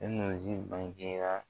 bangera